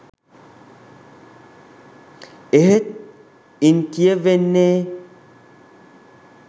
එහෙත් ඉන් කියවෙන්නේ